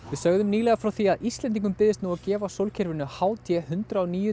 við sögðum nýlega frá því að Íslendingum byðist nú að gefa sólkerfinu h d hundrað og níu